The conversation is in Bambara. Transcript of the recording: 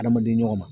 Adamaden ɲɔgɔn ma